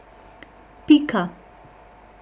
Pika.